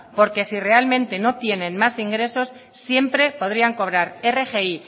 porque si realmente no tienen más ingresos siempre podrían cobrar rgi